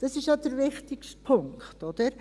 Das ist ja der wichtigste Punkt, oder?